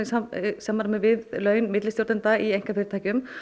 samræmi við laun millistjórnenda í einkafyrirtækjum